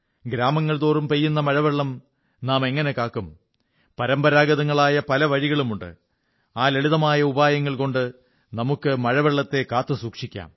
ഗ്രാമങ്ങൾ തോറും പെയ്യുന്ന മഴവെള്ളം നാമെങ്ങനെ കാത്തു സൂക്ഷിക്കുംപരമ്പരാഗതങ്ങളായ പല വഴികളുമുണ്ട് ആ ലളിതമായ ഉപായങ്ങൾ കൊണ്ട് നമുക്ക് മഴവെള്ളത്തെ കാത്തുസൂക്ഷിക്കാം